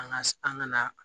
An ka an ka na